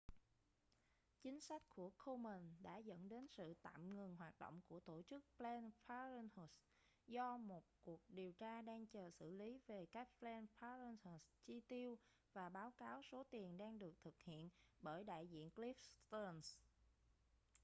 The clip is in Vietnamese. chính sách của komen đã dẫn đến sự tạm ngừng hoạt động của tổ chức planned parenthood do một cuộc điều tra đang chờ xử lý về cách planned parenthood chi tiêu và báo cáo số tiền đang được thực hiện bởi đại diện cliff stearns